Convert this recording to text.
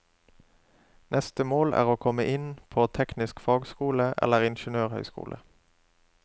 Neste mål er å komme inn på teknisk fagskole eller ingeniørhøyskole.